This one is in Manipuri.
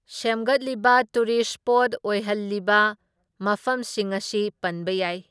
ꯁꯦꯝꯒꯠꯂꯤꯕ ꯇꯨꯔꯤꯁ ꯁ꯭ꯄꯣꯠ ꯑꯣꯏꯍꯜꯂꯤꯕ ꯃꯐꯝꯁꯤꯡ ꯑꯁꯤ ꯄꯟꯕ ꯌꯥꯏ꯫